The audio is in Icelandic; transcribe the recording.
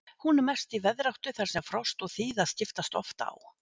Hún er mest í veðráttu þar sem frost og þíða skiptast oft á.